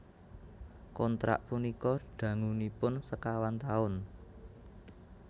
Kontrak punika dangunipun sekawan taun